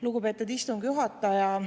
Lugupeetud istungi juhataja!